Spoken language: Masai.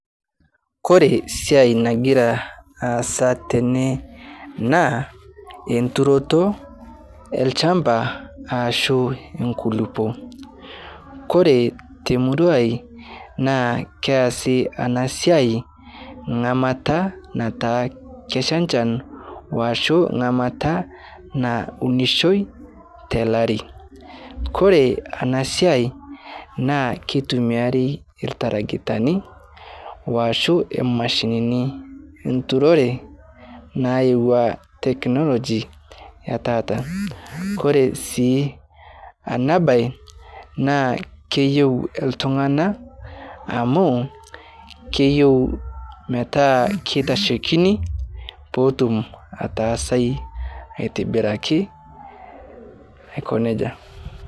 Kore siai nagira asa tene naa enturoto lshamba ashu nkulupo, Kore temurai naa keasi anasiai ngamata nataa kesha nchan washu ngamata naunishoi telari Kore ana siai naa keitumiari ltaragitani washu mashinini enturore nayeua teknoloji etata, Kore sii ana bae naa keyeu ltungana amu keyeu metaa ketashekini petum atasai atibiraki aiko neja.